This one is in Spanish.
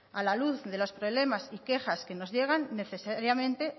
a la luz de los problemas y quejas que nos llegan necesariamente